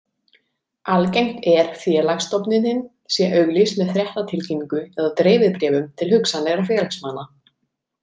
Algengt er félagsstofnunin sé auglýst með fréttatilkynningu eða dreifibréfum til hugsanlegra félagsmanna.